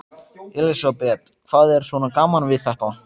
Elísabet: Hvað er svona gaman við þetta?